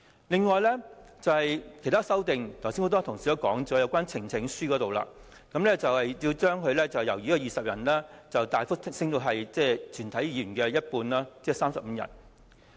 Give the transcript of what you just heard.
此外，很多同事剛才談及有關提交呈請書的人數，建制派要求由20人大幅增加至全體議員的一半，即35人。